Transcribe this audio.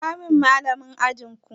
Kira min Mallamin ajin ku!